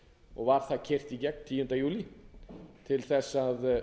og var það keyrt í gegn tíunda júlí vegna þess að